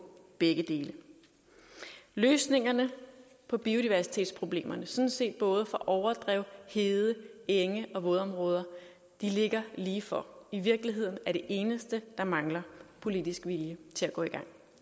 begge dele løsningerne på biodiversitetsproblemerne sådan set både for overdrev hede enge og vådområder ligger lige for i virkeligheden er det eneste der mangler politisk vilje til at gå i gang